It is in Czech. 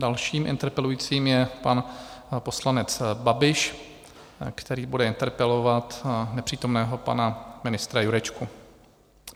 Dalším interpelujícím je pan poslanec Babiš, který bude interpelovat nepřítomného pana ministra Jurečku.